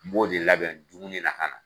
N b'o de labɛn dumunina ka na